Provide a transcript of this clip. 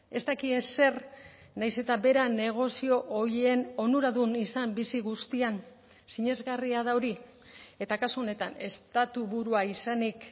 ez daki ezer nahiz eta bera negozio horien onuradun izan bizi guztian sinesgarria da hori eta kasu honetan estatu burua izanik